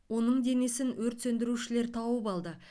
оның денесін өрт сөндірушілер тауып алды